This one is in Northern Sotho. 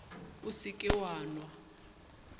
o se ke wa nwa